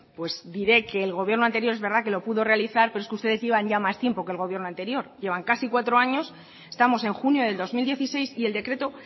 pues diré que el gobierno anterior es verdad que lo pudo realizar pero es que ustedes llevan ya más tiempo que el gobierno anterior llevan casi cuatro años estamos en junio del dos mil dieciséis y el decreto